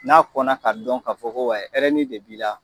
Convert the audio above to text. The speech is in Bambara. N'a kɔnɔ ka dɔn ka fɔ ko wayi hɛrɛni de b'i la